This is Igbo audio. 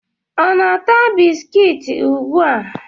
Ọ na-ata bisikiti ugbu a?